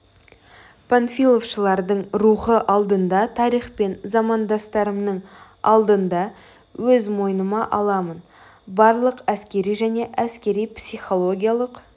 панфиловшылардың рухы алдында тарих пен замандастарымның алдында өз мойныма аламын барлық әскери және әскери психологиялық